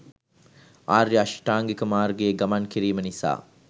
ආර්ය අෂ්ටාංගික මාර්ගයේ ගමන් කිරීම නිසා